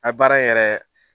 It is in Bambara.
A baara yɛrɛ